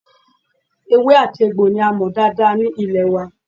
Ewé àti egbò ní a mọ̀ dáadáa ní ilẹ̀ wa